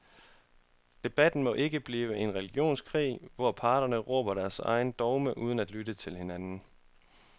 Debatten må ikke blive en religionskrig, hvor parterne råber deres egne dogmer uden at lytte til hinanden.